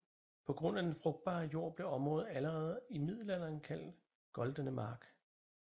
På grund af den frugtbare jord blev området allerede i middelalderen kaldt Goldene Mark